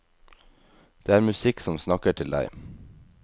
Det er musikk som snakker til deg.